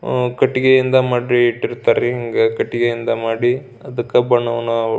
ಆ ಕಟ್ಟಿಗೆಯಿಂದ ಮಾಡಿ ಇಟ್ಟಿರುತ್ತಾರಿ ಅಹ್ ಕಟ್ಟಿಗೆಯಿಂದ ಮಾಡಿ ಅದಕ್ಕ ಬಣ್ಣವನ್ನು--